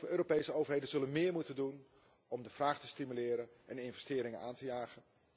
Europese overheden zullen meer moeten doen om de vraag te stimuleren en investeringen aan te jagen.